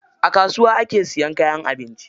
A kasuwa ake siyan kayan abinci